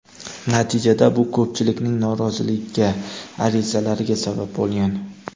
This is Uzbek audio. Natijada bu ko‘pchilikning noroziligiga, arizalariga sabab bo‘lgan.